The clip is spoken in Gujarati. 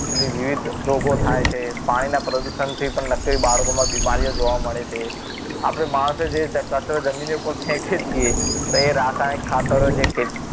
પેલી વિવિધ રોગો થાય છે પાણીના પ્રદૂષણથી પણ નકરી બાળકોમાં બીમારી ઓ જોવા મળે છે આપણે માણસો જે કચરો જમીનની ઉપર ફેકીએ છીએ તે રાસાયણિક ખાતર જે ખેતી